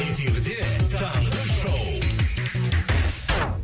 эфирде таңғы шоу